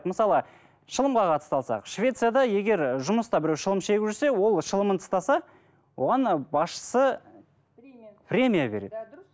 мысалы шылымға қатысты алсақ швецияда егер жұмыста біреу шылым шегіп жүрсе ол шылымын тастаса оған ы басшысы премия береді